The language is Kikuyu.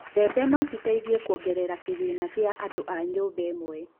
mbembe no citeithie kuogerera kĩgĩna gĩa andũ a nyũmba ĩmwe